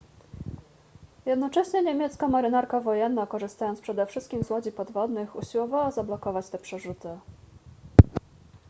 jednocześnie niemiecka marynarka wojenna korzystając przede wszystkim z łodzi podwodnych usiłowała zablokować te przerzuty